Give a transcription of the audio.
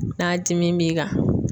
N'a dimin b'i kan.